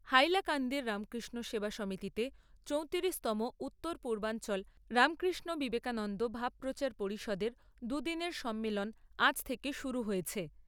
হাইলাকান্দির রামকৃষ্ণ সেবা সমিতিতে চৌতিরিশতম উত্তর পূর্বাঞ্চল রামকৃষ্ণ বিবেকানন্দ ভাবপ্রচার পরিষদের দুদিনের সম্মেলন আজ থেকে শুরু হয়েছে।